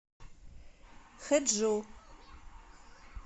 хэджу